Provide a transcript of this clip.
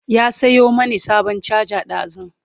ya Sayo mani sabon charger ɗazun